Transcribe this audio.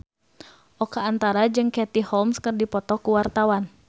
Oka Antara jeung Katie Holmes keur dipoto ku wartawan